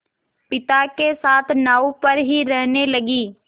पिता के साथ नाव पर ही रहने लगी